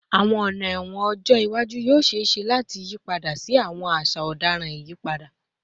Awọn ọna ẹwọn ọjọ iwaju yoo ṣee ṣe lati yipada si awọn aṣa ọdaràn iyipada